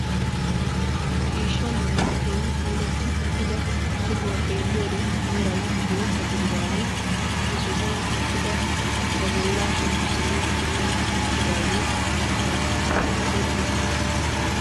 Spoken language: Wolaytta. Ciishsha meran keehi puulatti uttida sohuwaa xeelliyode meray bootta gididagee he sohuwaan uttidi ba bollaa shemppisanawu puulatti uttidagee kahaa irssises.